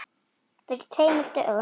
Fyrir tveimur dögum?